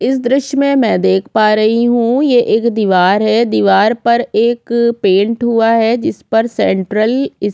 इस दृश्य में मई देख पा रही हु ये एक दिवार है दिवार पर एक पेन्ट हुआ है जिस पर सेन्ट्रल स्टेडियम --